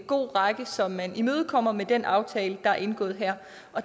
god række som man imødekommer med den aftale der er indgået her